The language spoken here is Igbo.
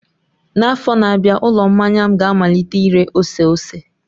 N'afọ na-abịa, ụlọ mmanya m ga-amalite ire ose ose.